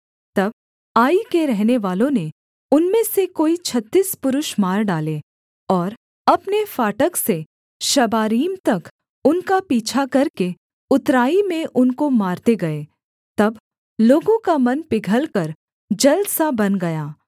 तब आई के रहनेवालों ने उनमें से कोई छत्तीस पुरुष मार डाले और अपने फाटक से शबारीम तक उनका पीछा करके उतराई में उनको मारते गए तब लोगों का मन पिघलकर जल सा बन गया